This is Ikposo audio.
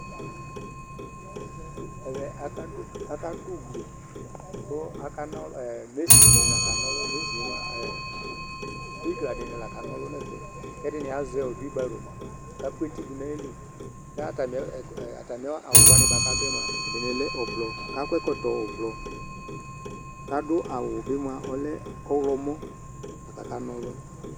Ɛʋɛ aƙadʊ ʊglɩ Ɓɩgla dɩŋɩ lakaŋɔlʊ ŋʊ ɛfɛ, ƙɛdɩŋɩ azɛ hʊɩɓaro ka ƙʊ etɩ dʊ ŋaƴɩlɩ, katamɩ awʊ wa adʊ yɛ mʊa ɛdɩŋɩ ʊɓlɔɔ, kakɔ ɛƙɔtɔ ʊɓlɔɔ, ƙadʊ awʊ ɓɩ mʊa ɔlɛ ɔwlɔmɔ aka kaŋɔlʊ